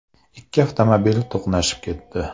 Ikki avtomobil to‘qnashib ketdi.